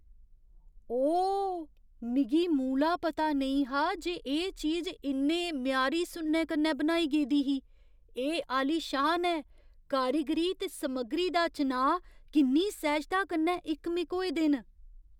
ओह्, मिगी मूला पता नेईं हा जे एह् चीज इन्ने म्यारी सुन्ने कन्नै बनाई गेदी ही। एह् आलीशान ऐ, कारीगरी ते समग्गरी दा चनांऽ किन्नी सैह्जता कन्नै इकमिक होए दे न।